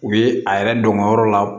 U ye a yɛrɛ dɔn ka yɔrɔ la